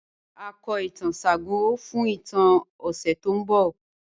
Ràrá, ào kò ìtàn Ṣàngó fún ìtàn ni òṣè tó n bọ̀.